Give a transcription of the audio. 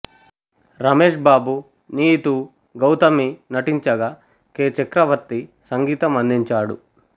రమేష్ బాబు నీతూ గౌతమి నటించగా కె చక్రవర్తి సంగీతం అందించాడు